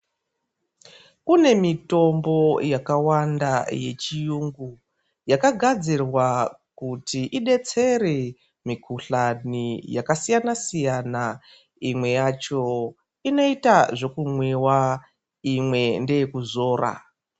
Kune mitombo yakawanda yechiyungu yakagadzirwa kuti idetsere mikuhlani yakasiyana-siyana. Imwe yacho inoita zvekumwiwa imwe ndeyekuzora.